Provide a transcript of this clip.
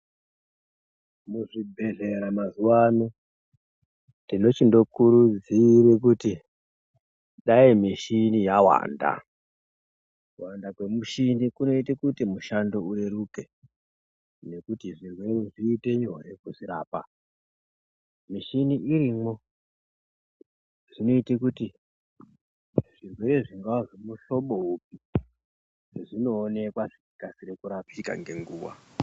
Muzvibhedhlera mazuwano tinochindokurudzire kuti dai mishini yawanda kuwanda kwemishini kunoite kuti mushando ureruke nekuti zvirwere zvinoite nyore kuzvirapa mishini irimwo zvinoite kuti zvirwere zvingaa zvekuhlobo upi zvinooneka zvichikasire kurapika ngenguwa.